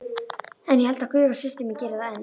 En ég held að Guðrún systir mín geri það enn.